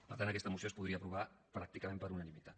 per tant aquesta moció es podria aprovar pràcticament per unanimitat